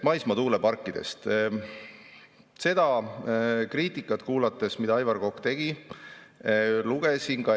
Ma kuulasin seda kriitikat, mida Aivar Kokk tegi maismaa tuuleparkide kohta.